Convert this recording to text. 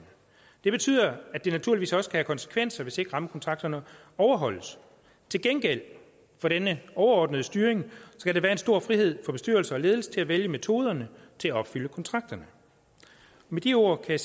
det betyder at det naturligvis også kan have konsekvenser hvis ikke rammekontrakterne overholdes til gengæld for denne overordnede styring skal der være en stor frihed for bestyrelse og ledelse til at vælge metoderne til at opfylde kontrakterne med de ord kan